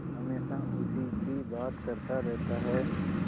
हमेशा उसी की बात करता रहता है